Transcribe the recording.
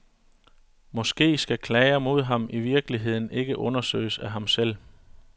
Måske skal klager mod ham i virkeligheden ikke undersøges af ham selv?